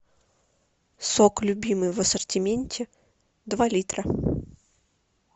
сок любимый в ассортименте два литра